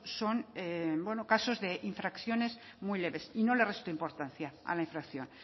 son bueno casos de infracciones muy leves y no le resto importancia a la infracción